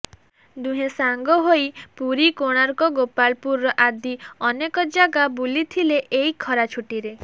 ଦୁହେଁ ସାଙ୍ଗ ହୋଇ ପୁରୀ କୋଣାର୍କ ଗୋପାଳପୁର ଆଦି ଅନେକ ଜାଗା ବୁଲିଥିଲେ ଏଇ ଖରା ଛୁଟିରେ